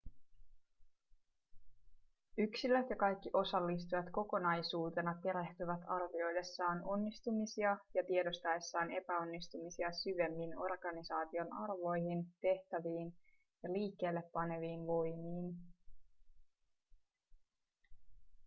yksilöt ja kaikki osallistujat kokonaisuutena perehtyvät arvioidessaan onnistumisia ja tiedostaessaan epäonnistumisia syvemmin organisaation arvoihin tehtäviin ja liikkeelle paneviin voimiin